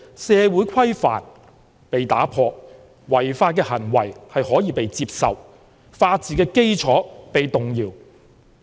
是社會規範被打破，違法行為可以被接受，法治基礎被動搖。